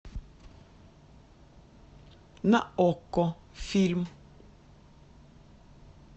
на окко фильм